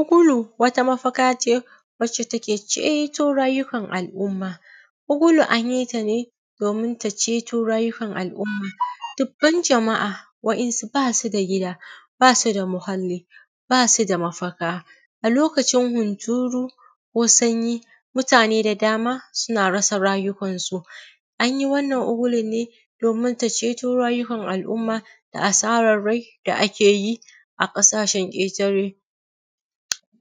Ukulu wata mafaka ce, wadda take cewa rayuwar al’umma. Ukulu an yi ta ne domin ta ceto rayuwar al’umma, dubban jama’a wa’yansu ba su da gida, ba su da muhalli ba su da mafaka, a lokacin hunturu ko sanyi mutane da dama suna rasa rayukansu. An yi wnnan ukulun ne domin ta ceto rayuwar al’umma da asaran rai da ake yi a ƙasashen ƙatare.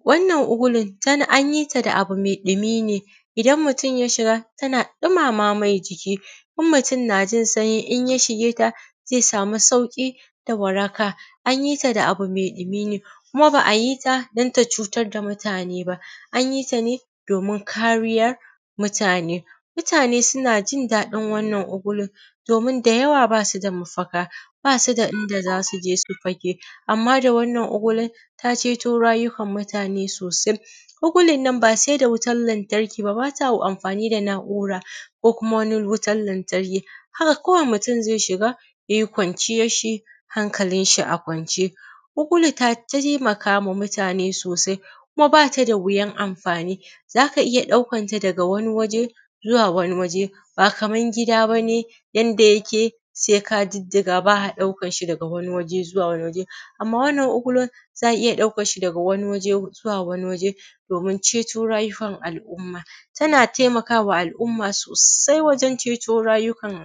Wannan ukulu ta an yi ta ne da abu mai ɗumi ne, idan mutim ya shiga tana ɗumama mai jiki. In mutum yana jin sanyi in ya shige ta, zai sami sauƙi da waraka, an yi ta da abu mai ɗumi ne kuma ba a yi ta don ta cutar da mutane ba an yi ta ne domin kariyar mutane. Mutane suna jin daɗin wannan ukulun, domin da yaw aba su da mafaka, ba su da inda za su je su fake, amma da wannan ukulun ta ceto rayukan mutane sosai. Ukulun nan ba sai da wutan lantarki ba. Ba ta amfani da na’ura ko kuma wani wutan lantarki haka kawai mutum zai shiga, ya y i kwanciyanshi hankalin shi a kwance. Ukulu tai ta taimakawa mutane sosai, kuma ba ta da wuyan amfani, za ka iya ɗaukanta daga wani waje zuwa wani waje, ba Kaman gida ba ne yanda yake sai ka diddiga ba a ɗaukan sa daga wani waje zuwa wani waje, amma wannan ukulu za a ɗauka daga wani waje zuwa wani waje. Domin ceto rayukan al’umma, tana taimakawa mutane sosai wajen ceto rayukan,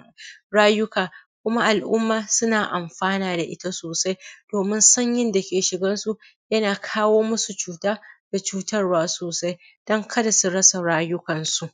rayuka kuma al’umma suna amfana da ita sosai domin sanyi dake shigan su yana kawo masu cuta da cutarwa sosai don kar su rasa rayukan su.